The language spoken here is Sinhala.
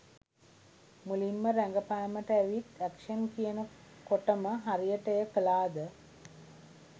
මුලින්ම රඟපෑමට ඇවිත් ඇක්ෂන් කියන කොටම හරියට එය කළාද?